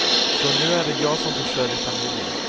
Så nu är det jag som försörjer familjen.